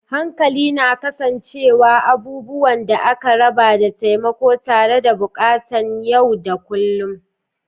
Hankali na kasancewa, abubuwan da aka raba, da taimako tare da buƙatun yau da kullun.